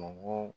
Mɔgɔ